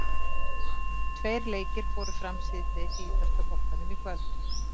Tveir leikir fóru fram síðdegis í ítalska boltanum í kvöld.